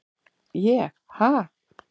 ég- ha?